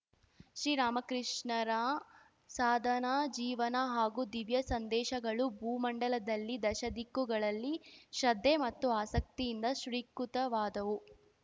ಶ್ರೀರಾಮಕೃಷ್ಣರ ಸಾಧನಾ ಜೀವನ ಹಾಗೂ ದಿವ್ಯ ಸಂದೇಶಗಳು ಭೂಮಂಡಲದಲ್ಲಿ ದಶದಿಕ್ಕುಗಳಲ್ಲಿ ಶ್ರದ್ಧೆ ಮತ್ತು ಆಸಕ್ತಿಯಿಂದ ಸ್ವೀಕೃತವಾದವು